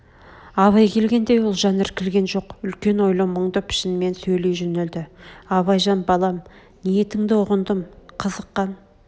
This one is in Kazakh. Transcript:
абай келгенде ұлжан іркілген жоқ үлкен ойлы мұңды пішінмен сөйлей жөнелді абайжан балам ниетңді ұғындым қызыққан